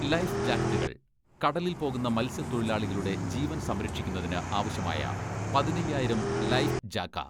life ജാക്കറ്റുകൾ കടലിൽ പോകുന്ന മത്സ്യത്തൊഴിലാളികളുടെ ജീവൻ സംരക്ഷിക്കുന്നതിന് ആവശ്യമായ പതിന്നയ്യായിരം ലൈഫ് ജാക്ക